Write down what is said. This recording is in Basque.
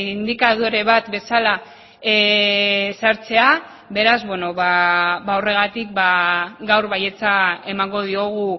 indikadore bat bezala sartzea beraz horregatik gaur baietza emango diogu